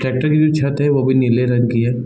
Tractor की जो छत है वो भी नील रंग की है।